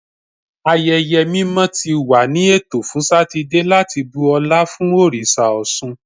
Ayẹyẹ mimọ ti wa ni eto fun Satidee lati bu ọla fun oriṣa Ọṣun